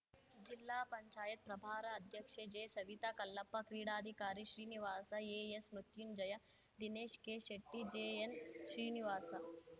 ಜಿಲ್ಲಾ ಪಂಚಾಯತ್ ಪ್ರಭಾರ ಅಧ್ಯಕ್ಷೆ ಜೆಸವಿತಾ ಕಲ್ಲಪ್ಪ ಕ್ರೀಡಾಧಿಕಾರಿ ಶ್ರೀನಿವಾಸ ಎಎಸ್‌ಮೃತ್ಯುಂಜಯ ದಿನೇಶ್ ಕೆಶೆಟ್ಟಿ ಜೆಎನ್‌ಶ್ರೀನಿವಾಸ